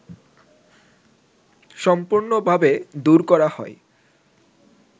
সম্পূর্ণভাবে দূর করা হয়